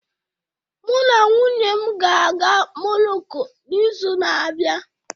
Mụ na nwunye m ga-aga Moroko n'izu na-abịa.